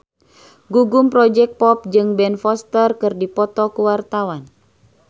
Gugum Project Pop jeung Ben Foster keur dipoto ku wartawan